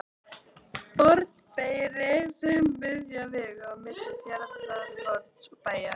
Borðeyri sem er miðja vegu á milli Fjarðarhorns og Bæjar.